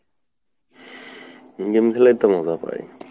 game খেলেই তো মজা পাই।